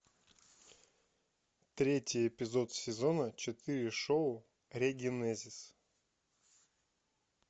третий эпизод сезона четыре шоу регенезис